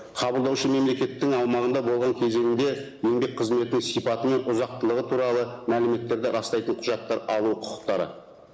қабылдаушы мемлекеттің аумағында болған кезеңінде еңбек қызметі сипаты мен ұзықтылығы туралы мәліметтерді растайтын құжаттар алу құқықтары